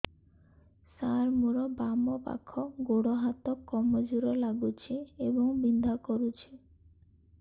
ସାର ମୋର ବାମ ପାଖ ଗୋଡ ହାତ କମଜୁର ଲାଗୁଛି ଏବଂ ବିନ୍ଧା କରୁଛି